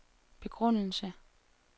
begrundelse